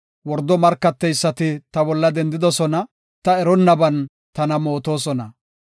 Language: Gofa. Wordo markateysati ta bolla dendoosona; ta eronnaban tana mootosona.